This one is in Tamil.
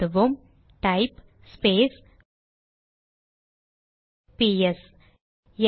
எழுதுவோம் டைப் ஸ்பேஸ் பிஎஸ்ps